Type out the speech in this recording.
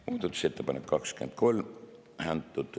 Muudatusettepanek nr 23.